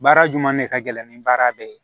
Baara jumɛn de ka gɛlɛn ni baara bɛɛ ye